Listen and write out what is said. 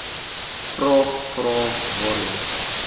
vraag vrae waarheen